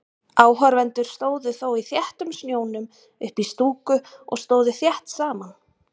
Áhorfendur stóðu þó í þéttum snjónum uppí stúku og stóðu þétt saman.